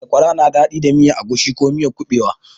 Sakwara na daɗi da miyar agushi ko miyan kuɓewa.